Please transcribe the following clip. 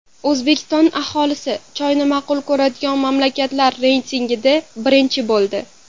O‘zbekiston aholisi choyni ma’qul ko‘radigan mamlakatlar reytingida birinchi bo‘ldi.